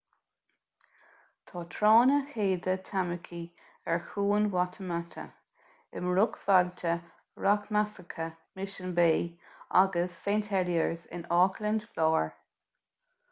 tá tránna chéide tamaki ar chuan waitemata i mbruachbhailte rachmasacha mission bay agus st heliers in auckland láir